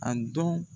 A dɔn